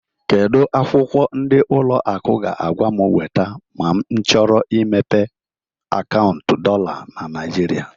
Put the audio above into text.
Kedu akwụkwọ ndi ụlọ akụ ga-agwa m weta ma m chọrọ imepe akaụntụ dollar na Nigeria?